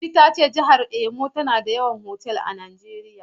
Teetea ta ce jihar Imo ce ke da mafi yawan otal a Najeriya.